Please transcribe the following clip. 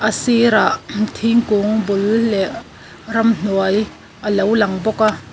a sirah thingkung bul leh ramhnuai a lo lang bawk a.